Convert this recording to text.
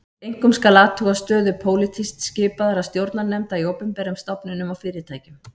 Einkum skal athuga stöðu pólitískt skipaðra stjórnarnefnda í opinberum stofnunum og fyrirtækjum